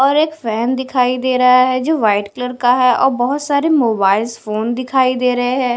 और एक फैन दिखाई दे रहा है जो वाइट कलर का है और बहुत सारे मोबाइल फोन दिखाई दे रहे हैं।